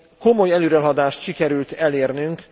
Komoly előrehaladást sikerül elérnünk.